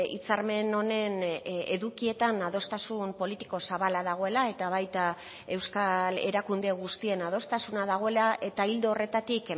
hitzarmen honen edukietan adostasun politiko zabala dagoela eta baita euskal erakunde guztien adostasuna dagoela eta ildo horretatik